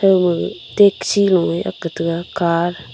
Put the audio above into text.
thauma gag taxi lo e akk ka taga car .